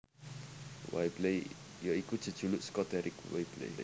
Whibley ya iku jejuluk saka Deryck Whibley